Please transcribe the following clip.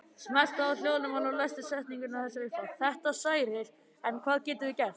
Þetta særir, en hvað getum við gert?